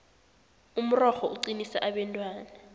umrorho uqinisa abentwana